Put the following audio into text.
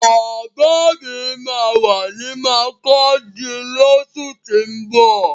Bàbá mi máa wà ní makurdi lósù tín bọ̀